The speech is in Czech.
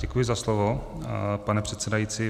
Děkuji za slovo, pane předsedající.